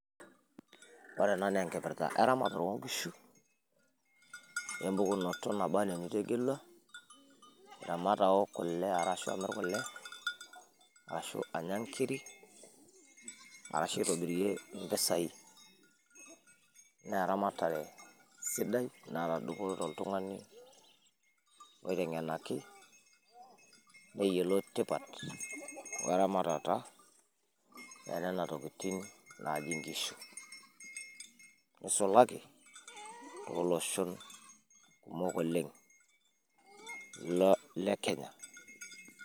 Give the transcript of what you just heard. ore ena naa enkipirta eramare oo nkishu, naba anaa enitegelua, aramat aok kule ashu amir kule, ashu anya nkiri, ashu aitobirie impisai, naa eramatare siidai naata dupoto oltungani, oiteng'enaki neyiolou tipat, we ramatata enenana tokitin naaji nkishu nisulaki too loshon kumok oleng le kenya.